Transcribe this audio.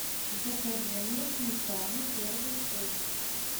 закажи мне сметаны первый вкус